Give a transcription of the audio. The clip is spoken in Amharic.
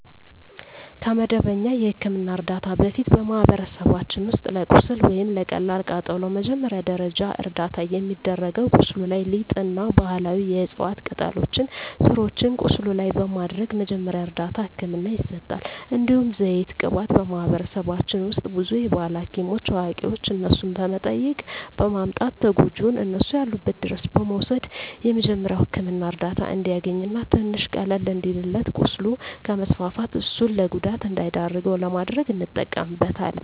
ከመደበኛ የሕክምና ዕርዳታ በፊት፣ በማኅበረሰባችን ውስጥ ለቁስል ወይም ለቀላል ቃጠሎ መጀመሪያ ደረጃ እርዳታ የሚደረገው ቁስሉ ላይ ሊጥ እና ባህላዊ የዕፅዋት ቅጠሎችን ስሮችን ቁስሉ ላይ በማድረግ መጀመሪያ እርዳታ ህክምና ይሰጣል። እንዲሁም ዘይት ቅባት በማህበረሰባችን ውስጥ ብዙ የባህል ሀኪሞች አዋቂዋች እነሱን በመጠየቅ በማምጣት ተጎጅውን እነሱ ያሉበት ድረስ በመውሰድ የመጀሪያዉ ህክምና እርዳታ እንዲያገኝ እና ትንሽ ቀለል እንዲልለት ቁስሉ ከስፋፋት እሱን ለጉዳት እንዳይዳርገው ለማድረግ እንጠቀምበታለን።